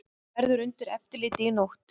Verður undir eftirliti í nótt